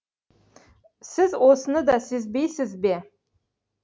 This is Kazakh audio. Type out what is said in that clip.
сіз осыны да сезбейсіз бе